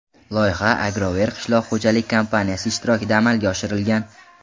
Loyiha Agrover qishloq xo‘jalik kompaniyasi ishtirokida amalga oshirilgan.